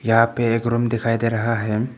यहां पे एक रूम दिखाई दे रहा है।